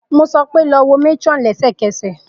Mo sọ pe, lọ wo matron lẹsẹkẹsẹ!